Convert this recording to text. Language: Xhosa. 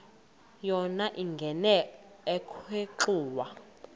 yona ingena ekhwenxua